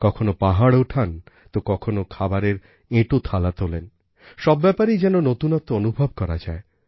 কখনও পাহাড় ওঠান তো কখনও খাবারের এঁটো থালা তোলেন সব ব্যাপারেই যেন নূতনত্ব অনুভব করা যায়